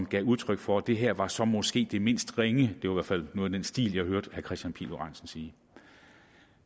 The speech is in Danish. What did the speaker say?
gav udtryk for at det her så måske var det mindst ringe det var fald noget i den stil jeg hørte herre kristian pihl lorentzen sige